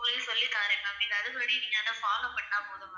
உங்களுக்கு சொல்லிதாறேன் ma'am. நீங்க அதுபடி நீங்க அதை follow பண்ணா போதும் ma'am.